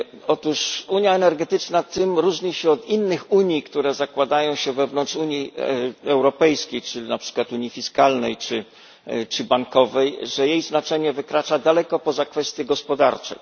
Otóż unia energetyczna tym różni się od innych unii, które zakładają się wewnątrz Unii Europejskiej czyli na przykład unii fiskalnej czy bankowej, że jej znaczenie wykracza daleko poza kwestie gospodarcze.